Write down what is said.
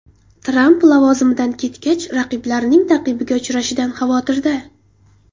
Tramp lavozimidan ketgach raqiblarining ta’qibiga uchrashidan xavotirda.